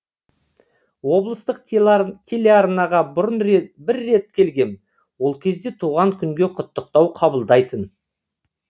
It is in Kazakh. облыстық телеарнаға бұрын бір рет келгем ол кезде туған күнге құттықтау қабылдайтын